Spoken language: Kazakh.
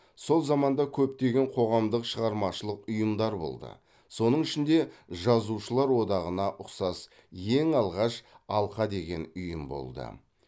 сол заманда көптеген қоғамдық шығармашылық ұйымдар болды соның ішінде жазушылар одағына ұқсас ең алғаш алқа деген ұйым болды